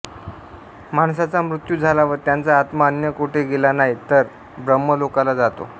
माणसाचा मृत्यू झाला व त्याचा आत्मा अन्य कोठे गेला नाही तर ब्रह्मलोकाला जातो